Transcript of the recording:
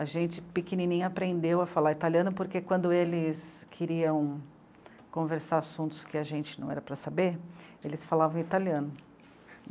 A gente pequenininha aprendeu a falar italiano porque quando eles queriam conversar assuntos que a gente não era para saber, eles falavam italiano.